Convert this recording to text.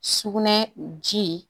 Sugunɛ ji